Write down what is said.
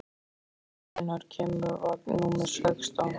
Hugdís, hvenær kemur vagn númer sextán?